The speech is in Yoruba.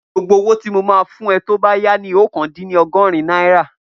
Gbogbo owó tí mo máa fún ẹ tó bá yá ni oókan dín ní ọgọ́rin náírà